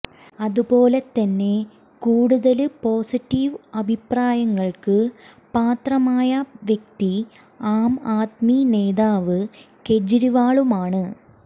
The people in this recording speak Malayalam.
അതുപോലെത്തന്നെ കൂടുതല് പോസിറ്റീവ് അഭിപ്രായങ്ങള്ക്ക് പാത്രമായ വ്യക്തി ആം ആദ്മി നേതാവ് കെജ്രിവാളുമാണ്